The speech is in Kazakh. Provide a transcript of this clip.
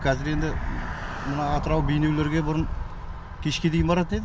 қазір енді мынау атырау бейнелеруге бұрын кешке дейін баратын едік